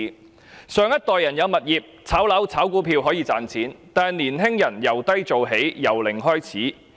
我們的上一代擁有物業，可以靠"炒樓"和"炒股票"賺錢，但青年人要由低做起、由零開始。